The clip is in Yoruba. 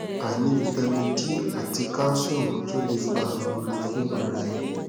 aini vitamin d ati calcium tun le fa irora fun ara eni